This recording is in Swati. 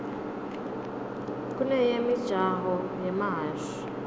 kuneyemijaho yemahhashi